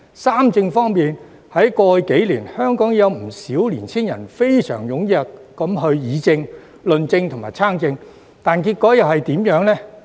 "三政"方面，在過去數年，香港已有不少青年人非常踴躍議政、論政及參政，但結果怎樣？